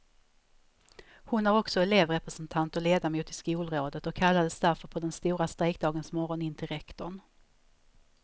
Hon är också elevrepresentant och ledamot i skolrådet och kallades därför på den stora strejkdagens morgon in till rektorn.